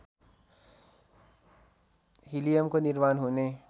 हिलियमको निर्माण हुने